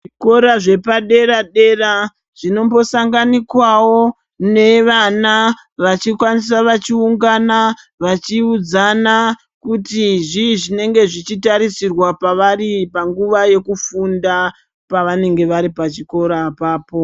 Kora zvepadera dera zvinombosanganikwako nevana vachikwanisa vachiungana vavhiudzana kuti zvii zvinombotarisirwa pavari panguwa yekufunda pavanenge vari pachikora apapo.